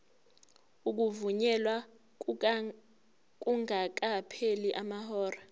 ukuvunyelwa kungakapheli amahora